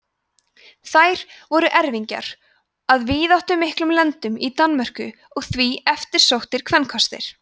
þær voru erfingjar að víðáttumiklum lendum í danmörku og því eftirsóttir kvenkostir